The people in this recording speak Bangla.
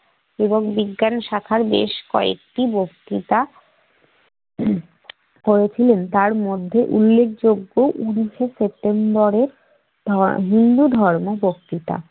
এবং বিজ্ঞান শাখার ব্যাস কয়েকটি বক্তৃতা করেছিলেন তার মধ্যে উল্লেখযোগ্য উনিশ সেপ্টেম্বরের পাওয়া হিন্দুধর্ম বক্তৃতা।